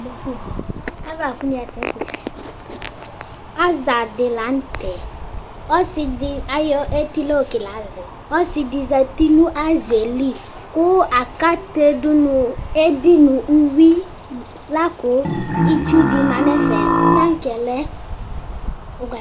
Aza di la nu tɛ ɔsidi ayɔ ɛdi la kele azɛ ɔsidi zati nu azɛ li ku akate dunu edi nu uyui la ku itsu di ma nu ɛfɛ tankɛ lɛ